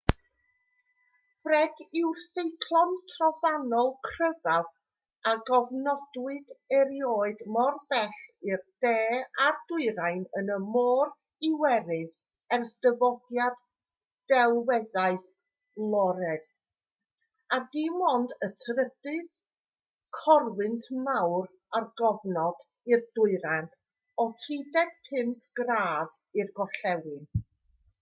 fred yw'r seiclon trofannol cryfaf a gofnodwyd erioed mor bell i'r de a'r dwyrain yn y môr iwerydd ers dyfodiad delweddaeth loeren a dim ond y trydydd corwynt mawr ar gofnod i'r dwyrain o 35 gradd i'r gorllewin